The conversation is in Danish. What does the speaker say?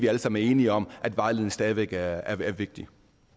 alle sammen enige om at vejledning stadig væk er vigtigt